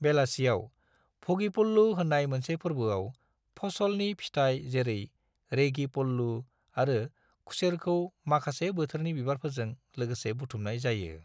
बेलासियाव, भ'गि पल्लू होननाय मोनसे फोरबोआव, फसलनि फिथाय जेरै रेगी पल्लू आरो खुसेरखौ माखासे बोथोरनि बिबारफोरजों लोगोसे बुथुमनाय जायो।